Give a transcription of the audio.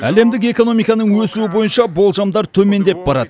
әлемдік экономиканың өсуі бойынша болжамдар төмендеп барады